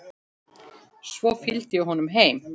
Svo fylgdi ég honum heim.